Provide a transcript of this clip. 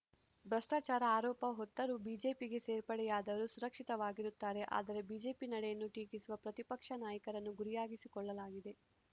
ಭ್ರಷ್ಟಾಚಾರ ಆರೋಪ ಹೊತ್ತರೂ ಬಿಜೆಪಿಗೆ ಸೇರ್ಪಡೆಯಾದವರು ಸುರಕ್ಷಿತವಾಗಿರುತ್ತಾರೆ ಆದರೆ ಬಿಜೆಪಿ ನಡೆಯನ್ನು ಟೀಕಿಸುವ ಪ್ರತಿಪಕ್ಷ ನಾಯಕರನ್ನು ಗುರಿಯಾಗಿಸಿಕೊಳ್ಳಲಾಗಿದೆ